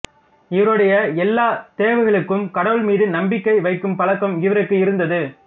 இவருடைய எல்லா தேவைகளுக்கும் கடவுள்மீது நம்பிக்கை வைக்கும் பழக்கம் இவருக்கு இருந்தது